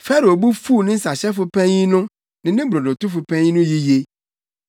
Farao bo fuw ne nsahyɛfo panyin no ne ne brodotofo panyin no yiye.